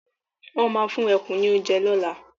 Won máa fún ẹkùn ní oúnjẹ lola